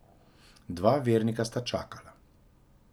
Dva vernika sta čakala.